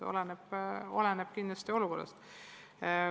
Oleneb kindlasti olukorrast.